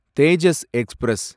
Tejas express